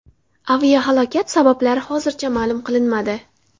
Aviahalokat sabablari hozircha ma’lum qilinmadi.